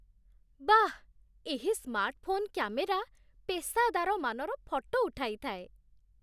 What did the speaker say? ବାଃ! ଏହି smartphone camera ପେସାଦାର ମାନର ଫଟୋ ଉଠାଇଥାଏ